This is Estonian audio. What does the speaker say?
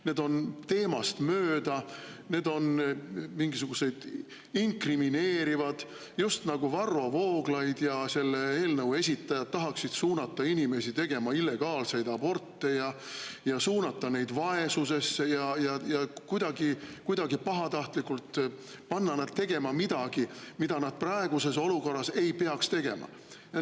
Need on teemast mööda, need on inkrimineerivad, just nagu Varro Vooglaid ja selle eelnõu esitajad tahaksid suunata inimesi tegema illegaalseid aborte, suunata neid vaesusesse ja kuidagi pahatahtlikult panna neid tegema midagi, mida nad praeguses olukorras ei peaks tegema.